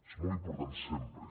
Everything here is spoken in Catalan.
és molt important sempre